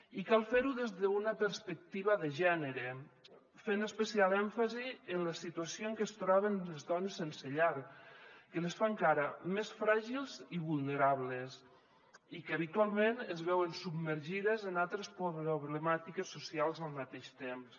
i cal fer ho des d’una perspectiva de gènere fent especial èmfasi en la situació en què es troben les dones sense llar que les fa encara més fràgils i vulnerables i que habitualment es veuen submergides en altres problemàtiques socials al mateix temps